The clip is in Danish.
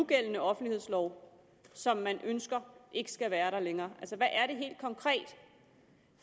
gældende offentlighedslov som man ønsker ikke skal være der længere hvad er det helt konkret